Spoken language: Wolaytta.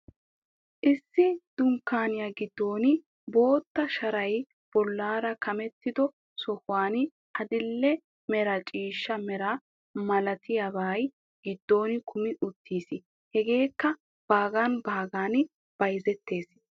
Issi dunkkaaniya giddon bootta sharay bollaara kamettido sohuwan adil"e mera ciishsha mera malatiyabay giddon kumi uttiis. Hegeekka baagan baagan bayzettees.